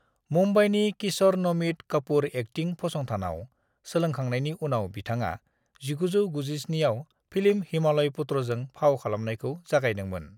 मुंबईनि Kishore Namit Kapoor acting फसंथानाव सोलोंखांनायनि उनाव बिथाङा 1997 आव फिल्म हिमालय पुत्रजों फाव खालामनायखौ जागायदोंमोन।